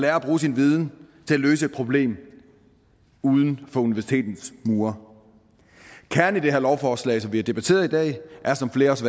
at bruge sin viden til at løse et problem uden for universitetets mure kernen i det her lovforslag som vi har debatteret i dag er som flere også